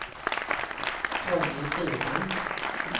Ronny Burman